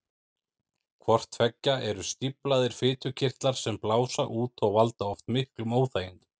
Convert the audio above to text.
Hvort tveggja eru stíflaðir fitukirtlar sem blása út og valda oft miklum óþægindum.